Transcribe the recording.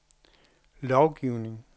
lovgivning